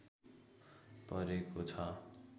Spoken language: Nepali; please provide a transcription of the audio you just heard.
परेको छ